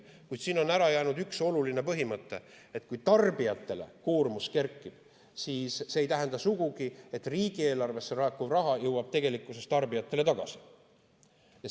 Kuid siin on ära jäänud üks oluline põhimõte: kui tarbijate koormus kerkib, siis see ei tähenda sugugi, et riigieelarvesse laekuv raha jõuab tegelikkuses tarbijatele tagasi.